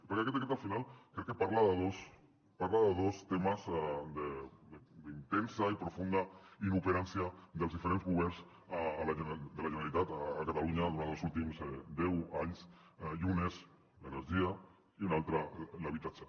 perquè aquest decret al final crec que parla de dos temes d’intensa i profunda importància dels diferents governs de la generalitat a catalunya durant els últims deu anys i un és l’energia i un altre l’habitatge